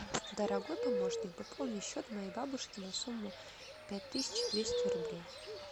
дорогой помощник пополни счет моей бабушки на сумму пять тысяч двести рублей